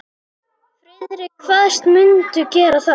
Friðrik kvaðst mundu gera það.